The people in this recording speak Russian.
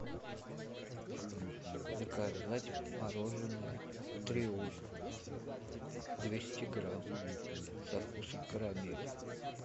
заказать мороженое триумф двести грамм со вкусом карамели